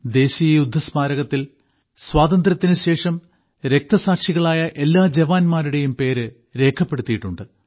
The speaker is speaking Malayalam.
ദേശീയ യുദ്ധസ്മാരകത്തിൽ സ്വാതന്ത്ര്യത്തിനുശേഷം രക്തസാക്ഷികളായ എല്ലാ ജവാന്മാരുടെയും പേര് രേഖപ്പെടുത്തിയിട്ടുണ്ട്